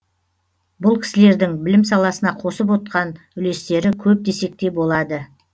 бұл кісілердің білім саласына қосып отқан үлестері көп десек те болады